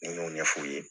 N y'o ɲɛf'u ye